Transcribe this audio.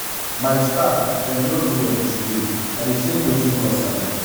my staff dem no do well today i dey tink wetin cause am.